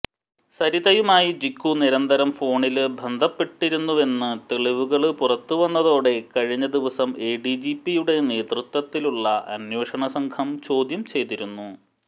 സരിതയുമായി ജിക്കു നിരന്തരം ഫോണില് ബന്ധപ്പെട്ടിരുന്നുവെന്ന് തെളിവുകള് പുറത്തുവന്നതോടെ കഴിഞ്ഞ ദിവസം എഡിജിപിയുടെ നേതൃത്വത്തിലുള്ള അനേഷണ സംഘം ചോദ്യം ചെയ്തിരുന്നു